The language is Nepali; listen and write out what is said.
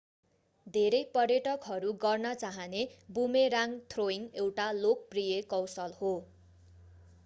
धेरै पर्यटकहरू गर्न चाहने बुमेराङ्ग थ्रोइङ्ग एउटा लोकप्रिय कौशल हो